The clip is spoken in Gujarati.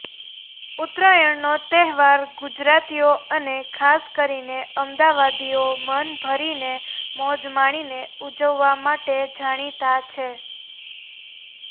ઊતરાયણનો તહેવાર ગુજરાતીઓ અને ખાસ કરીને અમદાવાદીઓ મન ભરીને મોજ માણીને ઉજવવા માટે જાણીતા છે